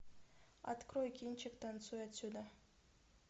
открой кинчик танцуй отсюда